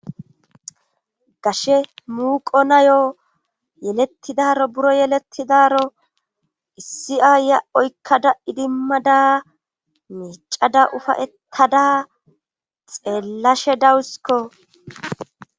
gashe muuqo nayo yelettidaro buro yelettidaro issi aayya oykkada idimmada miicada ufayettada xeellashe dawusiko